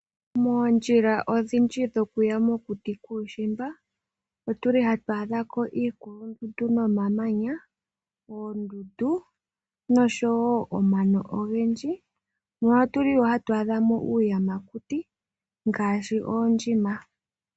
Moondjila odhindji dhokuya mokuti kuushiimba otuli hatu adha ko iikulundundu nomamanya, oondundu noshowo omano ogendji. Notuli wo hatu adha mo uuyamakuti ngaashi oondjima.